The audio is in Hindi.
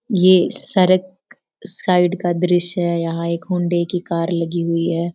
ये सड़क साइड का दृश्य है । यहाँ एक हौंडा की कार लगी हुई है।